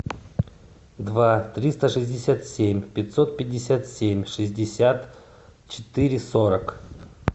два триста шестьдесят семь пятьсот пятьдесят семь шестьдесят четыре сорок